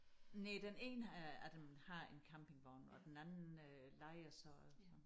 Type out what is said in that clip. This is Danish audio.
Næh den ene af af dem har en campingvogn og den anden øh lejer så så